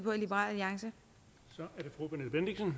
liberal alliance er